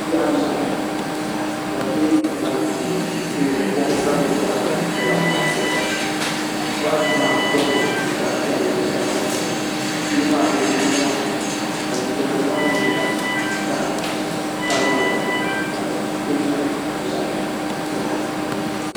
Bihi anahi ka bi bɛ moɣali puuni n toori kom ka gbubi boɣati dibata boɣati maa nyɛla zaɣ piɛlli ni zaɣ nuɣso bihi maa bi yɛ niɛma ka liiga nim maa nyɛ zaɣ sabinli zaɣ dozim ni zaɣ nuɣso